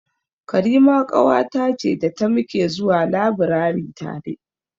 Karima ƙawata ce da ta muke zuwa labirari tare.